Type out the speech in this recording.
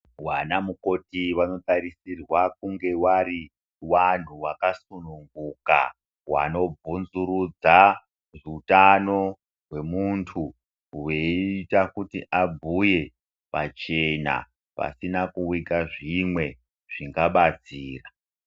Wana mukoti wanotarisirwa kunge warinwantu wakasunguka wanobvunzurudza utano hwemuntu hweiita kuti abhuye pachena pasina kuika zvimwe zvingabatsurwa.